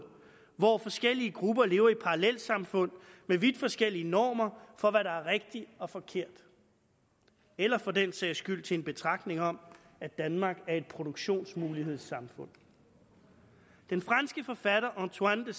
hvor forskellige grupper lever i parallelsamfund med vidt forskellige normer for hvad der er rigtigt og forkert eller for den sags skyld til en betragtning om at danmark er et produktionsmulighedssamfund den franske forfatter antoine